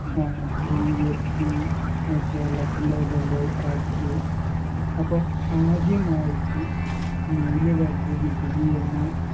ആ GST ഏർ കേരളത്തിലതല്ലൊ tax അപ്പം ആദ്യമായിറ്റ് നികുതി വർധിപ്പിക്കുകയെന്ന